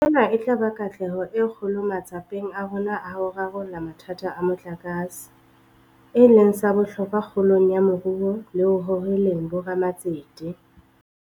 Ena e tla ba katleho e kgolo matsapeng a rona a ho rarolla mathata a motlakase, e leng sa bohlokwa kgolong ya moruo le ho hoheleng bo ramatsete.